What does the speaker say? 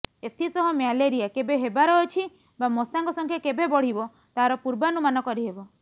ଏଥିସହ ମ୍ୟାଲେରିଆ କେବେ ହେବାର ଅଛି ବା ମଶାଙ୍କ ସଂଖ୍ୟା କେବେ ବଢ଼ିବ ତାର ପୂର୍ବାନୁମାନ କରିହେବ